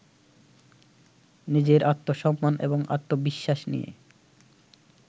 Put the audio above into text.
নিজের আত্মসম্মান এবং আত্মবিশ্বাস নিয়ে